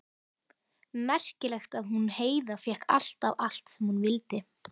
Merkilegt að hún Heiða fékk alltaf allt sem hún vildi.